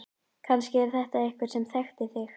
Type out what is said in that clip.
Kannski er þetta einhver sem þekkti þig.